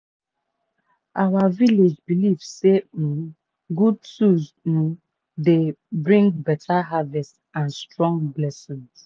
our village belief say um good tools um dey bring beta harvest and strong blessing.